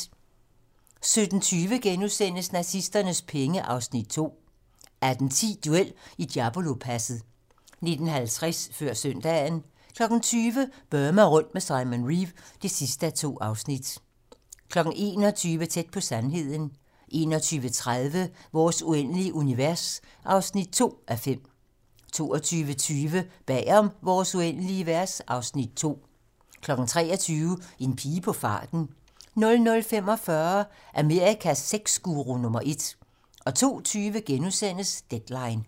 17:20: Nazisternes penge (Afs. 2)* 18:10: Duel i Diablopasset 19:50: Før søndagen 20:00: Burma rundt med Simon Reeve (2:2) 21:00: Tæt på sandheden 21:30: Vores uendelige univers (2:5) 22:20: Bag om Vores uendelige univers (Afs. 2) 23:00: En pige på farten 00:45: Amerikas sexguru nummer ét 02:20: Deadline *